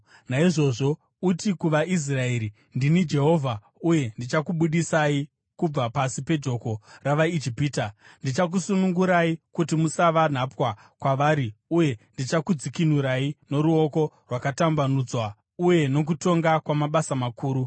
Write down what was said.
“Naizvozvo, uti kuvaIsraeri, ‘Ndini Jehovha, uye ndichakubudisai kubva pasi pejoko ravaIjipita. Ndichakusunungurai kuti musava nhapwa kwavari, uye ndichakudzikinurai noruoko rwakatambanudzwa uye nokutonga kwamabasa makuru.